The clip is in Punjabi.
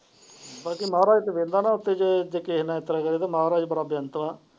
ਬਾਕੀ ਮਹਾਰਾਜ ਤੇ ਨਾ ਉੱਤੇ ਜੇ ਕਿਸੇ ਨਾਲ ਇਸ ਤਰਾਂ ਕਰੇ ਤਾ ਮਹਾਰਾਜ ਬੜਾ ਬਿਯਾਂਤ ਵਾ।